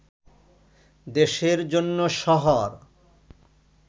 দেশের জন্য শহর